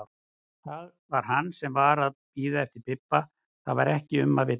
Það var hann sem var að bíða eftir Bibba, það var ekki um að villast!